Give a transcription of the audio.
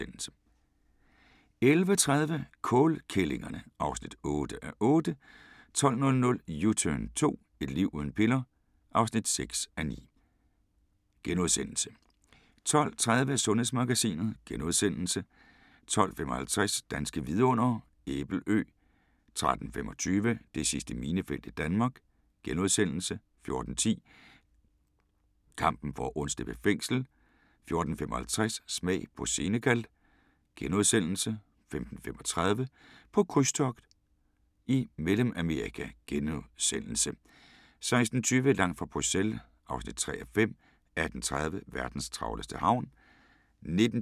11:30: Kålkællingerne (8:8) 12:00: U-turn 2 – Et liv uden piller? (6:9)* 12:30: Sundhedsmagasinet * 12:55: Danske Vidundere: Æbelø 13:25: Det sidste minefelt i Danmark * 14:10: Kampen for at undslippe fængsel 14:55: Smag på Senegal * 15:35: På krydstogt i Mellemamerika * 16:20: Langt fra Bruxelles (3:5) 18:30: Verdens travleste havn